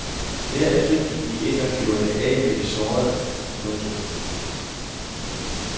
Derefter gik de ind og gjorde det af med de sårede. punktum